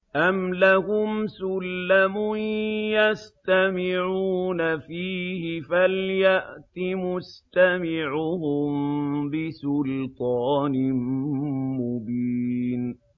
أَمْ لَهُمْ سُلَّمٌ يَسْتَمِعُونَ فِيهِ ۖ فَلْيَأْتِ مُسْتَمِعُهُم بِسُلْطَانٍ مُّبِينٍ